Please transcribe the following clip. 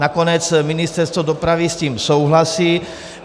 Nakonec Ministerstvo dopravy s tím souhlasí.